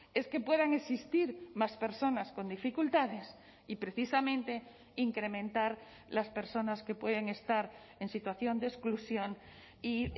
es que puedan existir más personas con dificultades y precisamente incrementar las personas que pueden estar en situación de exclusión y